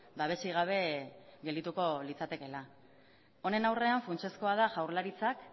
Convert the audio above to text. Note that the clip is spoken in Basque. babesik gabe geldituko litzatekeela honen aurrean funtsezkoa da jaurlaritzak